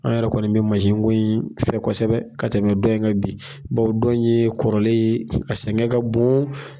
An yɛrɛ kɔni bɛ mansi ko in fɛ kɔsɛbɛ ka tɛmɛ dɔ in kan bi bawo dɔ in yee kɔrɔlen ye, a sɛŋɛ ka bon